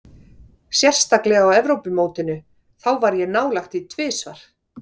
Sérstaklega á Evrópumótinu, þá var ég nálægt því tvisvar.